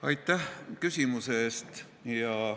Aitäh küsimuse eest!